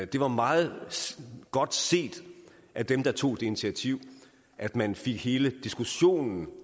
det var meget godt set af dem der tog det initiativ at man fik hele diskussionen